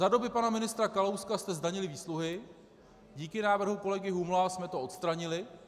Za doby pana ministra Kalouska jste zdanili výsluhy, díky návrhu kolegy Humla jsme to odstranili.